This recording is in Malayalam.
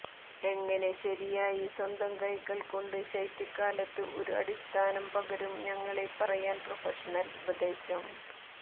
എങ്ങനെ ശരിയായി സ്വന്തം കൈകൾ കൊണ്ട് ശൈത്യകാലത്ത് ഒരു അടിസ്ഥാനം പകരും ഞങ്ങളെ പറയാൻ പ്രൊഫഷണൽ ഉപദേശം